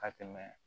Ka tɛmɛ